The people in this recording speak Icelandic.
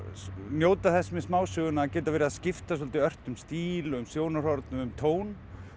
njóta þess með smásöguna að geta verið að skipta svolítið ört um stíl um sjónarhorn og um tón